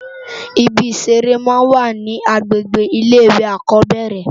Ìbí iṣèré má n wá ni ágbégbé ilé iwé ákòbèrè